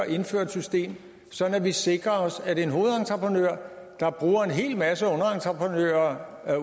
indføre et system sådan at vi sikrer os at en hovedentreprenør der bruger en hel masse underentreprenører af